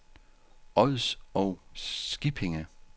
Ods og Skippinge